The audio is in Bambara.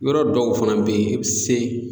Yɔrɔ dɔw fana bɛ yen i bɛ se